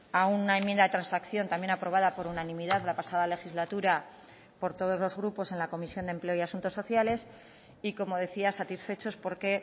a una enmienda de transacción también aprobada por unanimidad la pasada legislatura por todos los grupos en la comisión de empleo y asuntos sociales y como decía satisfechos porque